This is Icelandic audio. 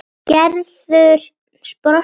Gerður brosti í laumi.